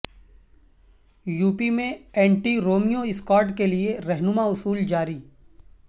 UP میں anti Romeo squad کیلئے رہنما اصول جاری